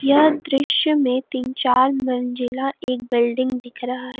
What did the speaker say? यह दृश्य में तीन चार मंजिला एक बिल्डिंग दिख रहा है।